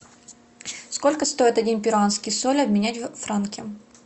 сколько стоит один перуанский соль обменять на франки